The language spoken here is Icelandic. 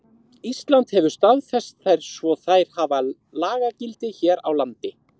Ísland hefur staðfest þær svo þær hafa lagagildi hér á landi.